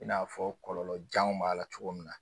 I n'a fɔ kɔlɔlɔjanw b'a la cogo min na